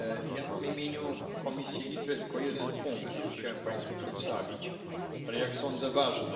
Ja mam w imieniu komisji ITRE tylko jeden punkt, który chciałbym Państwu przedstawić, ale jak sądzę ważny.